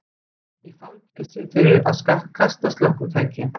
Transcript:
Í fangelsi fyrir að kasta slökkvitæki